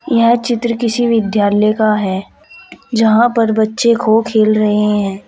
यह चित्र किसी विद्यालय का है जहां पर बच्चे खो खेल रहे हैं।